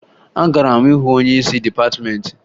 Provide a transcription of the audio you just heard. Agara m hụ onyeisi dịpatịmeentị